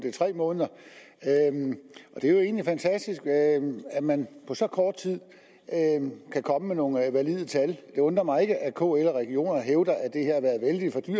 er tre måneder og det er jo egentlig fantastisk at man på så kort tid kan komme med nogle valide tal det undrer mig ikke at kl og regionerne hævder